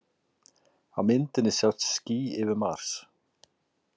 Á myndinni sjást ský yfir Mars.